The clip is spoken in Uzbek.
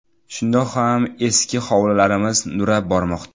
Shundoq ham eski hovlilarimiz nurab bormoqda.